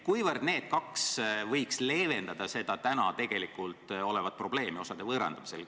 Kuivõrd need kaks võiks leevendada seda tegelikult olemasolevat probleemi osade võõrandamisel?